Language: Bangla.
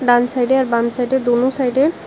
ডান সাইডে আর বাম সাইডে দোনো সাইডে --